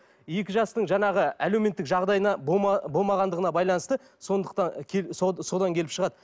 екі жастың жаңағы әлеуметтік жағдайына болмағандығына байланысты сондықтан содан келіп шығады